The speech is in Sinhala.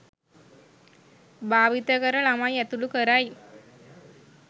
භාවිත කර ළමයින් ඇතුළු කරයි